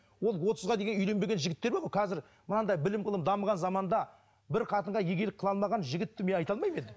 ол отызға үйленбеген жігіттер бар ғой қазір мынандай білім ғылым дамыған заманда бір қатынға иегелік қыла алмаған жігітті мен айта алмаймын енді